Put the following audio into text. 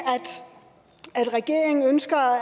regeringen ønsker